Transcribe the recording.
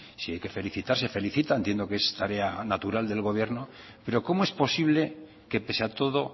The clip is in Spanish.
si hay que felicitar se felicita entiendo que es tarea natural del gobierno pero cómo es posible que pese a todo